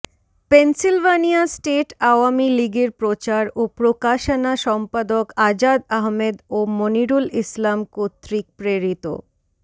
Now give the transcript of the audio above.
Pennsylvania state Awami লীগের প্রচার ও প্রকাশানা সম্পাদক আজাদ আহমেদ ও মনিরুল ইসলাম কতৃক প্রেরিত